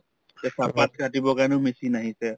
তে চাহপাত কাটিবৰ কাৰণেও machine আহিছে